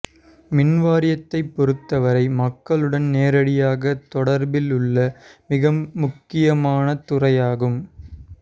மின்வாரியத்தை பொறுத்தவரை மக்களுடன் நேரடியாக தொடர்பில் உள்ள மிக முக்கியமானத் துறையாகும்